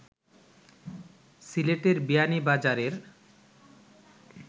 সিলেটের বিয়ানীবাজারের